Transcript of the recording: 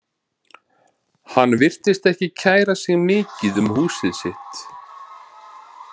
Hann virtist ekki kæra sig mikið um húsið sitt.